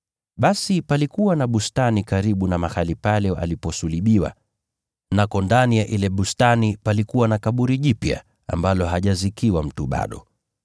Basi palikuwa na bustani karibu na mahali pale aliposulubiwa, na pale ndani ya ile bustani palikuwa na kaburi jipya, ambalo halikuwa limezikiwa mtu bado.